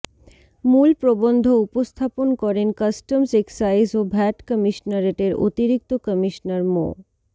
মূল প্রবন্ধ উপস্থাপন করেন কাস্টমস এক্সাইজ ও ভ্যাট কমিশনারেটের অতিরিক্ত কমিশনার মো